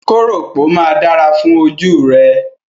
Kóròpó máa dára fún ojú rẹ.